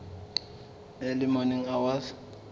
early morning hours